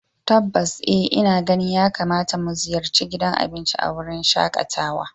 Tabbas eh ina ganin yakamata mu ziyarci gidan abinci a wurin shakatawa